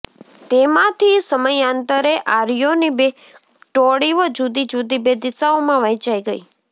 તેમાંથી સમયાંતરે આર્યોની બે ટોળીઓ જુદી જુદી બે દિશાઓમાં વહેંચાઈ ગઈ